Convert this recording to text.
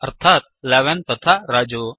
अर्थात् 11 तथा रजु